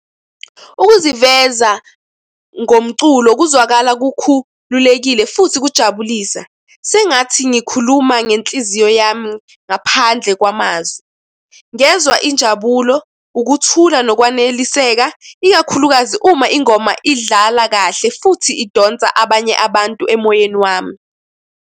Ukuziveza ngomculo kuzwakala kukhulekile futhi kujabulisa sengathi ngikhuluma ngenhliziyo yami ngaphandle kwamazwi. Ngezwa injabulo, ukuthula, nokwaneliseka ikakhulukazi uma ingoma idlala kahle futhi idonsa abanye abantu emoyeni wami.